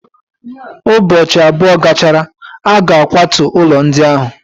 Ụbọchị abụọ gachara, a ga-akwatu ụlọ ndị ahụ.